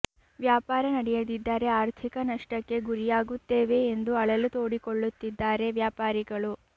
ವ್ಯಾಪಾರ ನಡೆಯದಿದ್ದರೆ ಆರ್ಥಿಕ ನಷ್ಟಕ್ಕೆ ಗುರಿಯಾಗುತ್ತೇವೆ ಎಂದು ಅಳಲು ತೋಡಿಕೊಳ್ಳುತ್ತಿದ್ದಾರೆ ವ್ಯಾಪಾರಿಗಳು